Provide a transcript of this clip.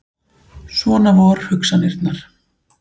Svona vor hugsanirnar.